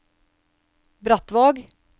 Brattvåg